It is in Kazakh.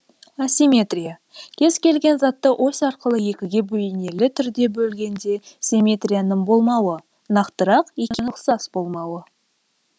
асимметрия кез келген затты ось арқылы екіге бейнелі түрде бөлгенде симетрияның болмауы нақтырақ екеуінің ұқсас болмауы